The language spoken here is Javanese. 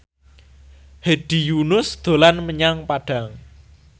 Hedi Yunus dolan menyang Padang